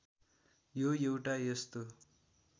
यो एउटा यस्तो